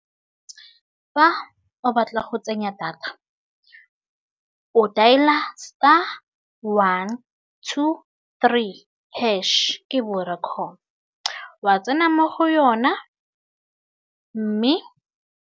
Fa o batla go tsenya data, o dailer star one two three hash ke Vodacom wa tsena mo go yona mme.